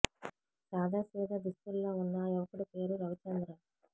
సాదా సీదా దుస్తుల్లో వున్న ఆ యువకుడి పేరు రవిచంద్ర